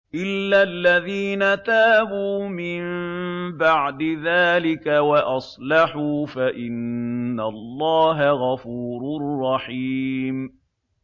إِلَّا الَّذِينَ تَابُوا مِن بَعْدِ ذَٰلِكَ وَأَصْلَحُوا فَإِنَّ اللَّهَ غَفُورٌ رَّحِيمٌ